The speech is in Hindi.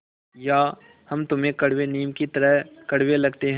या हम तुम्हें कड़वे नीम की तरह कड़वे लगते हैं